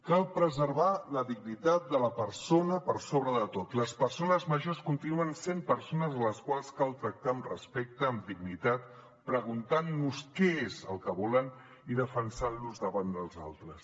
cal preservar la dignitat de la persona per sobre de tot les persones grans continuen sent persones a les quals cal tractar amb respecte amb dignitat preguntant nos què és el que volen i defensant les davant dels altres